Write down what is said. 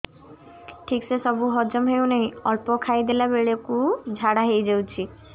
ଠିକସେ ସବୁ ହଜମ ହଉନାହିଁ ଅଳ୍ପ ଖାଇ ଦେଲା ବେଳ କୁ ଝାଡା ହେଇଯାଉଛି